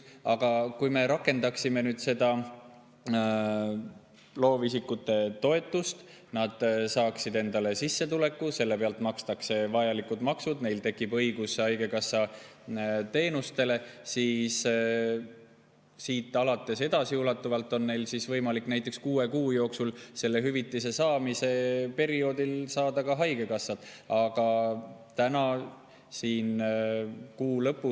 Aga kui me rakendame seda loovisikute toetust ja nad saavad endale sissetuleku, selle pealt makstakse vajalikud maksud, neil tekib õigus haigekassa teenustele, siis edasiulatuvalt on neil võimalik näiteks kuue kuu jooksul, selle hüvitise saamise perioodil, saada ka haigekassa.